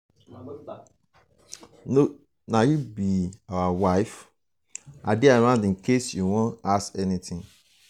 na you be our new wife?i dey around in case you wan ask anything